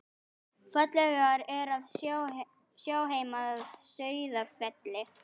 Fallegt er að sjá heim að Sauðafelli.